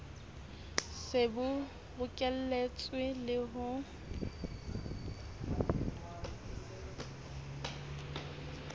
se bo bokeletswe le ho